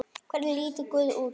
Hvernig lítur guð út?